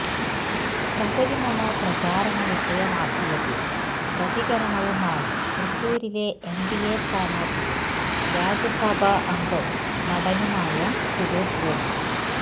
ശബരിമല പ്രചാരണ വിഷയമാക്കിയതിൽ പ്രതികരണവുമായി തൃശൂരിലെ എൻഡിഎ സ്ഥാനാർത്ഥിയും രാജ്യസഭാംഗവും നടനുമായ സുരേഷ് ഗോപി